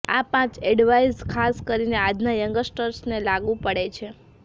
આ પાંચ એડવાઇસ ખાસ કરીને આજના યંગસ્ટર્સને લાગુ પડે છે